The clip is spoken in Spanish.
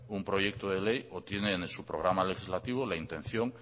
un proyecto de ley o tiene en su programa legislativo la intención